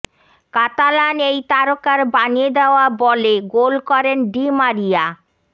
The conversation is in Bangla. কাতালান এই তারকার বানিয়ে দেওয়া বলে গোল করেন ডি মারিয়া